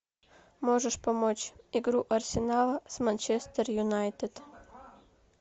можешь помочь игру арсенала с манчестер юнайтед